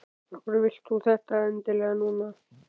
Af hverju vilt þú þetta endilega núna?